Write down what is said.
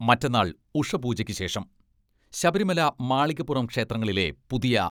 മറ്റന്നാൾ ഉഷ പൂജക്ക് ശേഷം ശബരിമല, മാളികപ്പുറം ക്ഷേത്രങ്ങളിലെ പുതിയ